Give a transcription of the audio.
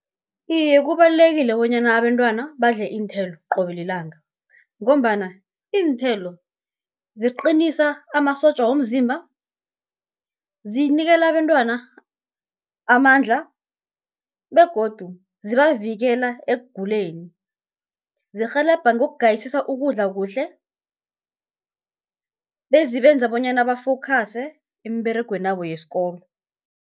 Iye kubalulekile bonyana abentwana badle iinthelo qobe lilanga, ngombana iinthelo ziqinisa amasotja womzimba, zinikela abentwana amandla, begodu zibavikela ekuguleni. Zirhelebha ngokugayisisa ukudla kuhle, bezibenza bonyana ba-focuse emberegwenabo yesikolo.